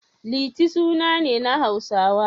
Liti suna ne na Hausawa.